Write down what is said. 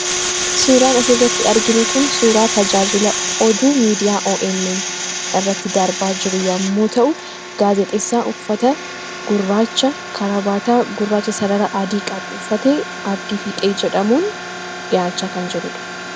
Suuraan is irratti argin kun suuraa tajaajila oduu miidiyaa omn irratti darbaa jiru yommuu ta'u gaazexessaa uffata gurraacha karabaataa gurraacha sarara adii qabu uffatee abdii fiixee jedhamuun dhiyaachaa kan jirudha.